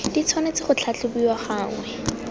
di tshwanetse go tlhatlhobiwa gangwe